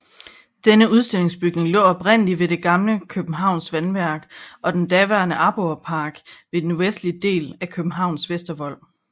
Denne udstillingsbygning lå oprindelig ved det gamle Københavns Vandværk og den daværende Aborrepark ved den nordligste del af Københavns Vestervold